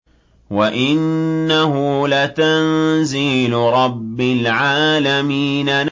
وَإِنَّهُ لَتَنزِيلُ رَبِّ الْعَالَمِينَ